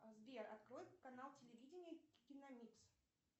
сбер открой канал телевидения киномикс